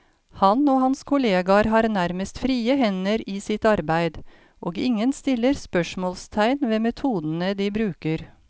Han og hans kolleger har nærmest frie hender i sitt arbeid, og ingen stiller spørsmålstegn ved metodene de bruker.